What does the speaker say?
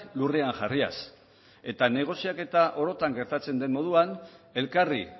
lurrean jarriaz eta negoziaketa orotan gertatzen den moduan elkarri